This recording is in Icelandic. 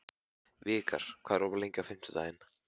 Vikar, hvað er opið lengi á fimmtudaginn?